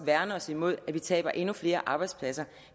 værne mod at vi taber endnu flere arbejdspladser